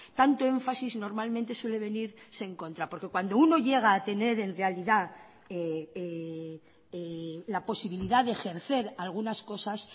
tanto énfasis normalmente suele venirse en contra porque cuando uno llega a tener en realidad la posibilidad de ejercer algunas cosas